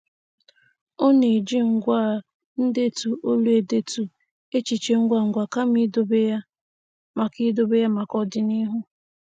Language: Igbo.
Ọ na-eji ngwá ndetu olu edetu echiche ngwangwa kama idobe ya maka idobe ya maka ọdịnihu.